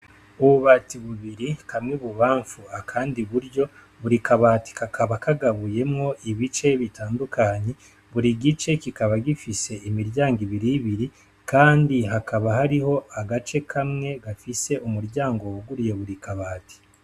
Ububati bubiri, kamwe ibubamfu akandi iburyo, buri kabati kakaba kagabuyemwo ibice bitandukanye, buri gice kikaba gifise imiryango ibiribiri kandi hakaba hariho agace kamwe gafise umuryango wuguruye buri kabati.